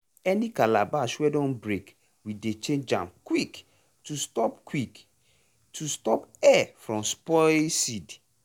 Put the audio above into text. any calabash wey don break we dey change am quick to stop quick to stop air from spoil seed.